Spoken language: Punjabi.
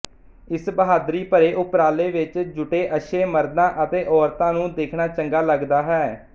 ਇਸ ਬਹਾਦਰੀ ਭਰੇ ਉਪਰਾਲੇ ਵਿੱਚ ਜੁਟੇ ਅੱਛੇ ਮਰਦਾਂ ਅਤੇ ਔਰਤਾਂ ਨੂੰ ਦੇਖਣਾ ਚੰਗਾ ਲਗਦਾ ਹੈ